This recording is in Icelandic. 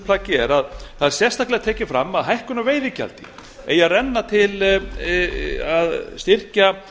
plaggi að það er sérstaklega tekið fram að hækkun á veiðigjaldi eigi að renna til að styrkja